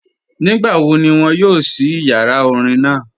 Nígbàwó̀ ní wọn yóò ṣí ìyàrá orín naa?